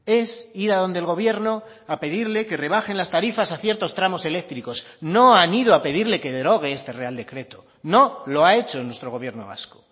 es ir a donde el gobierno a pedirle que rebajen las tarifas a ciertos tramos eléctricos no han ido a pedirle que derogue este real decreto no lo ha hecho nuestro gobierno vasco